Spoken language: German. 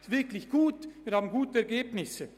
Wir erzielen damit gute Ergebnisse.